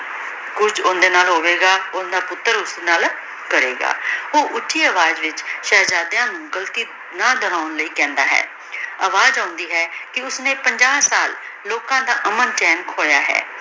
ਕੁਛ ਓਨ੍ਡੀ ਨਾਲ ਹੋਵੇ ਗਾ ਓਹ੍ਨ੍ਦਾ ਪੁਤਰ ਓਸਦੀ ਨਾਲ ਕਰੀ ਗਾ ਊ ਓਛੀ ਅਵਾਜ਼ ਵਿਚ ਸ਼ੇਹ੍ਜ਼ਾਦ੍ਯਾਂ ਨੂ ਬਾਲਕੀ ਲੈ ਕਹੰਦਾ ਹੈ ਅਵਾਜ਼ ਆਉਂਦੀ ਹੈ ਕੇ ਓਸ੍ਨੀ ਪੰਜਾ ਸਾਲ ਲੋਕਾਂ ਦਾ ਅਮਨ ਚੈਨ ਖੋਯਾ ਹੈ